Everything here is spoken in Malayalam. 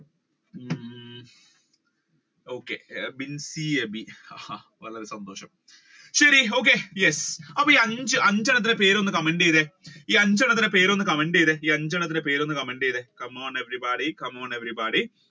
okay ബിൻസി അബി വളരെ സന്തോഷം ശരി okay yes അഞ്ചെണ്ണത്തിന്റെ പേര് ഒന്ന് comment ചെയ്തേ ഈ അഞ്ചെണ്ണത്തിന്റെ പേര് ഒന്ന് comment ചെയ്തേ ഈ അഞ്ചെണ്ണത്തിന്റെ പേര് ഒന്ന് comment ചെയ്തേ come on everybody, come on everybody